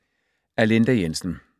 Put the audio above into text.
Af Linda Jensen